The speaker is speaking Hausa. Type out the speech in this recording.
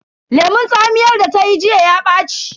Lemun tsamiyar da ta yi jiya ya ɓaci.